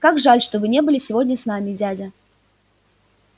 как жаль что вы не были сегодня с нами дядя